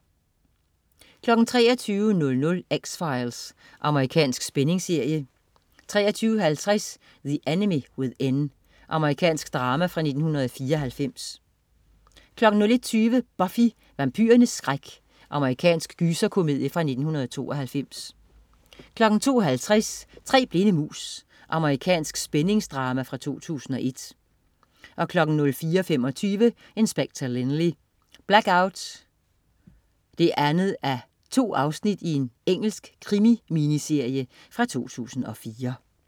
23.00 X-Files. Amerikansk spændingsserie 23.50 The Enemy Within. Amerikansk drama fra 1994 01.20 Buffy. Vampyrernes skræk. Amerikansk gyserkomedie fra 1992 02.50 Tre blinde mus. Amerikansk spændingsdrama fra 2001 04.25 Inspector Lynley: Blackout 2:2. Engelsk krimi-miniserie fra 2004